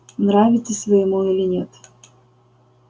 нравитесь вы ему или нет